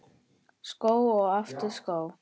Skó og aftur skó.